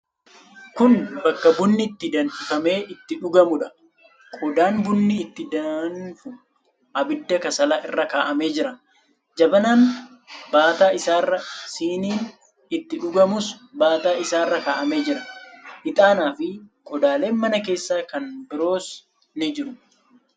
Kun bakka bunni itti danfifamee itti dhugamuudha. Qodaan bunni itti dandu abidda kasalaa irra kaa'amee jira. Jabanaan baataa isaarra, siniin itti dhugamus baataa isaarra kaa'amee jira. Ixaanaafi qodaaleen mana keessaa kan biroos ni jiru.